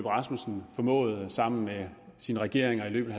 rasmussen formåede at gøre sammen med sine regeringer i løbet